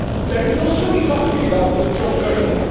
There is no strong economy without a strong currency.